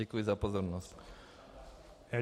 Děkuji za pozornost.